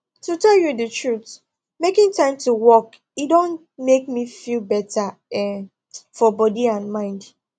to tell you the truth making time to walk e don make me feel better um for body and mind